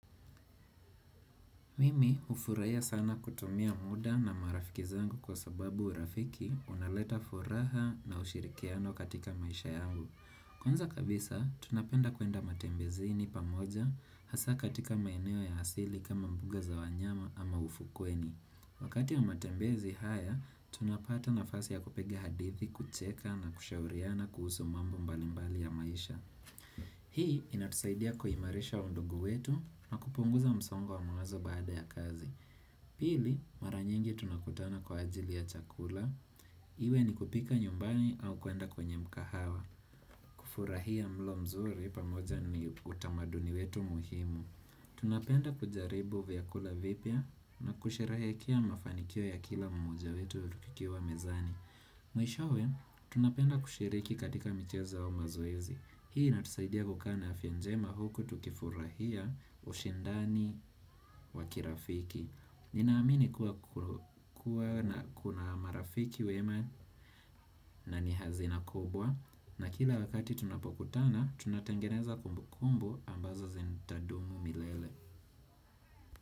Mimi hufuraia sana kutumia muda na marafiki zangu kwa sababu urafiki unaleta furaha na ushirikiano katika maisha yao. Kwanza kabisa, tunapenda kuenda matembezini pamoja, hasa katika maeneo ya hasili kama mbuga za wanyama ama ufukweni. Wakati ya matembezi haya, tunapata nafasi ya kupigea hadithi, kucheka na kushauriana kuhusu mambo mbalimbali ya maisha. Hii inatusaidia kuhimarisha undugu wetu na kupunguza msongo wa mawazo baada ya kazi Pili, mara nyingi tunakutana kwa ajili ya chakula Iwe ni kupika nyumbani au kuenda kwenye mkahawa kufurahia mlo mzuri pamoja ni utamaduni wetu muhimu Tunapenda kujaribu vyakula vipya na kusherehekea mafanikio ya kila moja wetu wetu kikiwa mezani Mwishowe, tunapenda kushiriki katika michezo au mazoezi Hii natusaidia kukana ya fienjema huku tukifurahia ushendani wa kirafiki Ninaamini kuwa kuna marafiki wema na ni hazina kubwa na kila wakati tunapokutana tunatangeneza kumbu kumbu ambazo zitadumu milele.